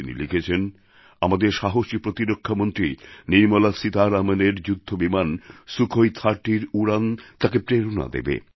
তিনি লিখেছেন আমাদের সাহসী প্রতিরক্ষামন্ত্রী নির্মলা সীতারামণের যুদ্ধবিমান সুখোই30র উড়ান তাঁকে প্রেরণা দেবে